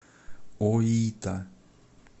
оита